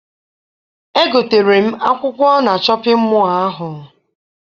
Egotere m akwụkwọ na shọpịn mọọ ahụ.